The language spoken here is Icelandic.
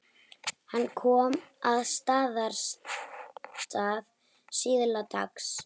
Hann kom að Staðarstað síðla dags.